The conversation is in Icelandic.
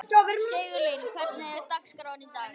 Sigurlín, hvernig er dagskráin í dag?